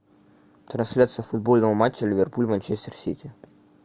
трансляция футбольного матча ливерпуль манчестер сити